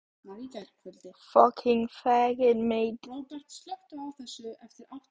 Bryndís: Hvaða áhrif hefur þetta á önnur pólitísk samskipti ríkjanna?